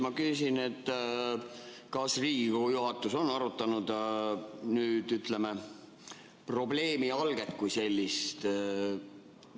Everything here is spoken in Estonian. Ma küsin, kas Riigikogu juhatus on arutanud, ütleme, probleemi alget kui sellist.